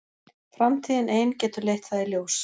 Framtíðin ein getur leitt það í ljós.